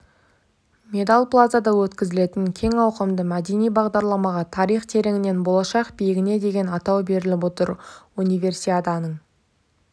медал плазада өткізілетін кең ауқымды мәдени бағдарламаға тарих тереңінен болашақ биігіне деген атау беріліп отыр универсиаданың